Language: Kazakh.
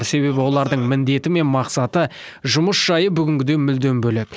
себебі олардың міндеті мен мақсаты жұмыс жайы бүгінгіден мүлдем бөлек